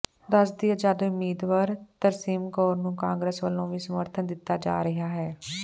ਦਸ ਦੀ ਆਜ਼ਾਦ ਉਮੀਦਵਾਰ ਤਰਸੇਮ ਕੌਰ ਨੂੰ ਕਾਂਗਰਸ ਵੱਲੋਂ ਵੀ ਸਮਰਥਨ ਦਿੱਤਾ ਜਾ ਰਿਹਾ ਹੈ